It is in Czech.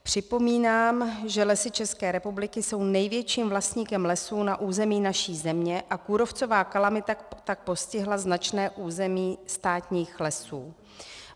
Připomínám, že Lesy České republiky jsou největším vlastníkem lesů na území naší země a kůrovcová kalamita tak postihla značné území státních lesů.